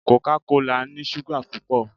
Coca kola ni súgà pupọ.